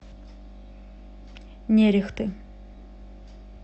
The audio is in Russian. нерехты